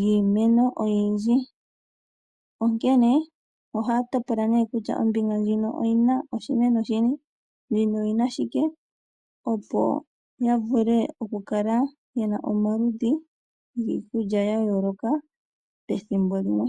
giimeno oyindji, onkene oha ya topola nee kutya ombinga ndjino oyi na oshimeno shi nipo , opo yavule okukala ye na omaludhi giikulya ya yooloka pethimbo limwe.